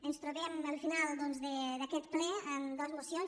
ens trobem al final doncs d’aquest ple amb dos mocions